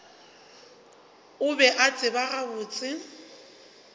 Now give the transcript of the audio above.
o be a tseba gabotse